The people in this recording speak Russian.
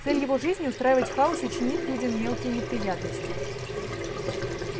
цель его жизни устраивать хаос и чинить людям мелкие неприятности